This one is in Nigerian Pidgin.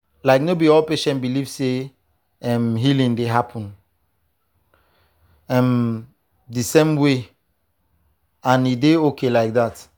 like no be all patients believe say um healing dey happen um the same way and e dey okay like that.